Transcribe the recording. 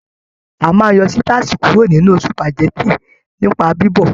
A máa n yọ sitasi kuro nínú supágẹ̀tì nipa bibọ̀.